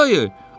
Nə dayı?